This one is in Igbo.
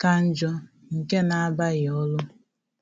ka njọ nke na-abaghi olu